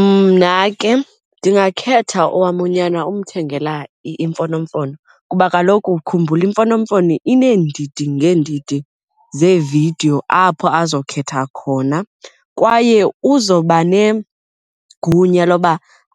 Mna ke ndingakhetha owam unyana umthengela iimfonomfono kuba kaloku khumbula imfonomfono ineendidi ngeendidi zeevidiyo apho azokhethwa khona kwaye uzoba negunya loba